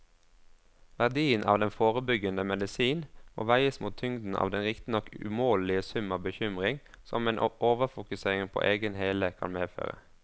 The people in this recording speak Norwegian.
Verdien av den forebyggende medisin må veies mot tyngden av den riktignok umålelige sum av bekymring som en overfokusering på egen hele kan medføre.